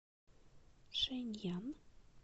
шэньян